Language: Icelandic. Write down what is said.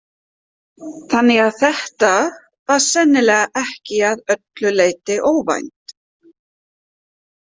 Þannig að þetta var sennilega ekki að öllu leyti óvænt.